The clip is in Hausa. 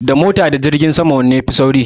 Da mota da jirgin sama wanne ya fi sauri?